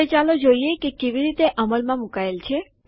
હવે ચાલો જોઈએ તે કેવી રીતે અમલમાં મૂકાયેલ છે